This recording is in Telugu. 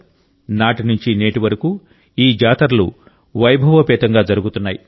నాటి నుంచి నేటి వరకు ఈ జాతరలు వైభవోపేతంగా జరుగుతున్నాయి